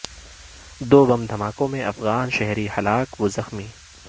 دو بم دھماکوں میں افغان شہری ہلاک و زخمی